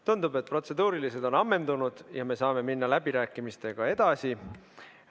Tundub, et protseduurilised on ammendunud ja me saame minna läbirääkimistega edasi.